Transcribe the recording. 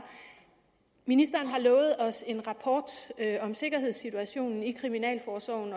ministeren har lovet os en rapport om sikkerhedssituationen i kriminalforsorgen